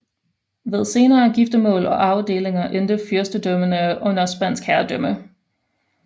Ved senere giftermål og arvedelinger endte fyrstedømmerne under spansk herredømme